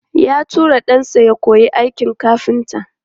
Ya tura ɗansa ya koyi aikin kafinta.